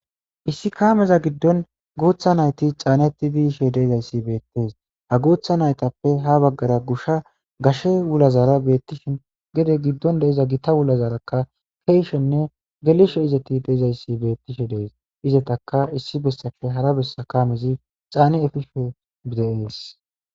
issi kaameza giddon guutha nayti caaneti biishe deezayssi beettees ha guutha naytappe ha baggara gusha gashe wulazara beettishin gede giddon deiza gita wulazarakka keeshenne gelishe izetti deezayssi bettishe dees izetaka issi bessafe hara bessa kamezi caani efishe bideees